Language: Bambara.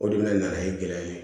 O de bɛna nana ye gɛlɛya ye